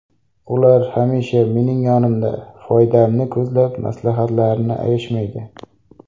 Ular hamisha mening yonimda, foydamni ko‘zlab maslahatlarini ayashmaydi.